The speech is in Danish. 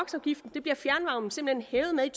bliver fjernvarmen simpelt hen hævet med